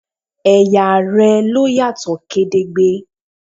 Ẹ̀yà rẹ ló yàtọ̀ gedegbe